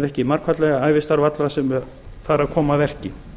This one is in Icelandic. ef ekki margfaldlega ævistarf allra sem þar hafa komið að verki